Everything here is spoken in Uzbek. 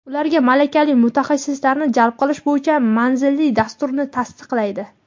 ularga malakali mutaxassislarni jalb qilish bo‘yicha manzilli dasturni tasdiqlaydi.